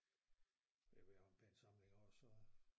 Ja vi har en pæn samling og så